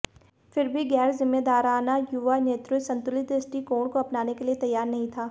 फिर भी गैर जिम्मेदाराना युवा नेतृत्व संतुलित दृष्टिकोण को अपनाने के लिए तैयार नहीं था